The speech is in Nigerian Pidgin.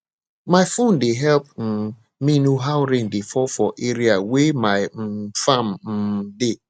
my phone dey help um me know how rain dey fall for area wey my um farm um dey